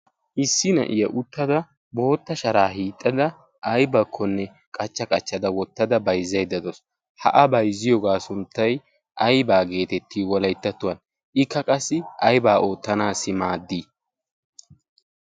issi na'iya uttada bootta sharaa hiixxada aibakkonne qachcha qachchada wottada bayzzaiddadoos haa bayzziyoogaa sunttay aybaa geetetti wolayttattuwan ikka qassi aybaa oottanaassi maaddii